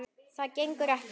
Það gengur ekki!